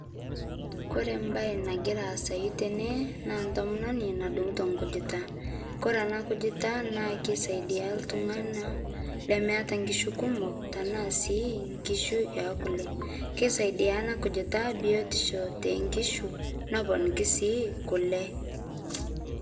kore mbai nagira aasai tenee naa ntomononi nadungitoo nkujita kore ana kujita naa keisaidia ltunganaa lemeata nkishu kumoo tanaa sii nkishu ekule keisaidia ana kujita biotisho te nkishu noponikii sii kule